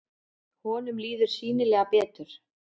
Honum líður sýnilega betur.